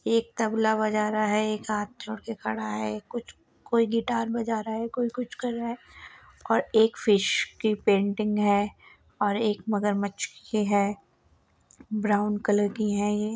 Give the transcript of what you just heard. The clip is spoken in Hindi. एक तबला बजा रहा है। एक हाथ जोड़ के खड़ा है। एक कुछ कोई गिटार बजा रहा है। कोई कुछ कर रहा है और एक फिश की पेंटिंग है और एक मगरमच्छ की है ब्राउन कलर की है ये।